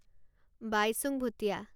Baichung Bhutia